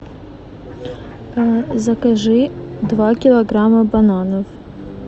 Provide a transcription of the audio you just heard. закажи два килограмма бананов